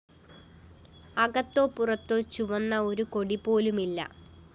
അകത്തോ പുറത്തോ ചുവന്ന ഒരു കൊടിപോലുമില്ല